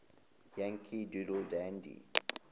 yankee doodle dandy